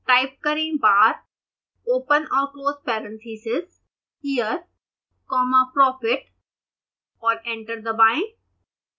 type करें bar open और close parentheses year comma profit और एंटर दबाएं